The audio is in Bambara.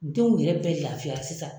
Denw yɛrɛ bɛ lafiya sisan